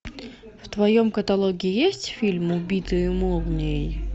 в твоем каталоге есть фильм убитые молнией